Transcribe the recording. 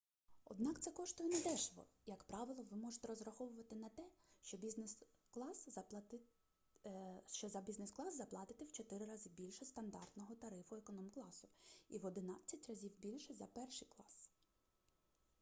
однак це коштує недешево як правило ви можете розраховувати на те що за бізнес-клас заплатите в 4 рази більше стандартного тарифу економкласу і в одинадцять разів більше за перший клас